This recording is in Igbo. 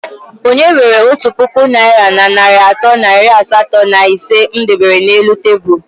Onye were otu puku naira na narị atọ na iri asatọ na ise m debere n'elu tebụl?